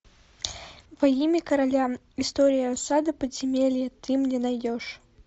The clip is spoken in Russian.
во имя короля история осады подземелья ты мне найдешь